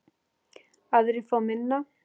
Aðrir fá minna.